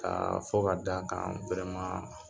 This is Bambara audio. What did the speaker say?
K'a fɔ ka d'a kan